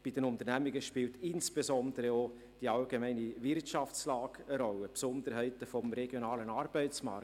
Bei den Unternehmungen spielen insbesondere auch die allgemeine Wirtschaftslage eine Rolle und die Besonderheiten des regionalen Arbeitsmarktes.